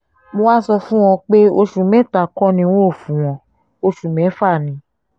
mo wáá sọ fún wọn pé oṣù mẹ́ta kò ní n óò fún wọn oṣù mẹ́fà ni